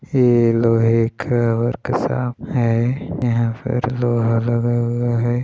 ये लोहे का वर्कशॉप है यह पर लोहा लगा हुआ है।